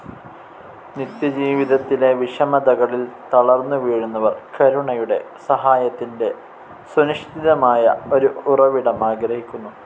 നിത്യജീവിതത്തിലെ വിഷമതകളിൽ തളർന്നു വീഴുന്നവർ, കരുണയുടെ, സഹായത്തിൻ്റെ സുനിശ്ചിതമായ ഒരു ഉറവിടം ആഗ്രഹിക്കുന്നു.